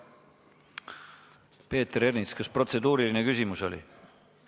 Peeter Ernits, kas protseduuriline küsimus?